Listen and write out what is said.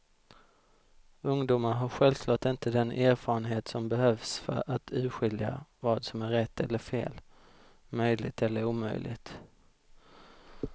Ungdomar har självklart inte den erfarenhet som behövs för att urskilja vad som är rätt eller fel, möjligt eller omöjligt.